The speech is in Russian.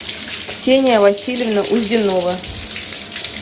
ксения васильевна узденова